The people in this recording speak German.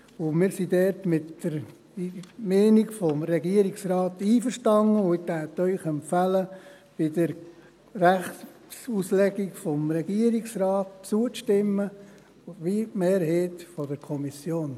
Wir sind dort mit der Meinung des Regierungsrates einverstanden und würden Ihnen empfehlen, der Rechtsauslegung des Regierungsrates zuzustimmen, wie die Mehrheit der Kommission.